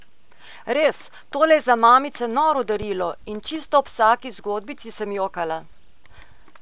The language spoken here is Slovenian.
Res, tole je za mamice noro darilo in čist ob vsaki zgodbici sem jokala!